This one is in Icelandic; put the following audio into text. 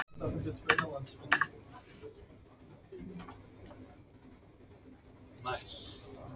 Nánast alla þeirra hjúskapartíð.